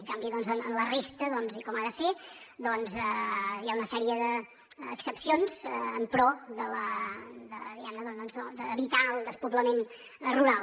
en canvi en la resta i com ha de ser hi ha una sèrie d’excepcions en pro d’evitar el despoblament rural